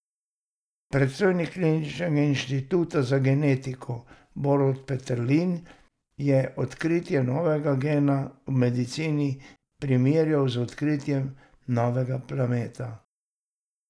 Predstojnik kliničnega inštituta za genetiko Borut Peterlin je odkritje novega gena v medicini primerjal z odkritjem novega planeta.